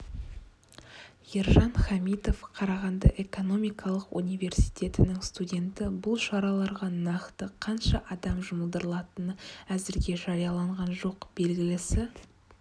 ержан хамитов қарағанды экономикалық университетінің студенті бұл шараларға нақты қанша адам жұмылдырылатыны әзірге жарияланған жоқ белгілісі